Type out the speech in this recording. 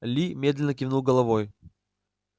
ли медленно кивнул головой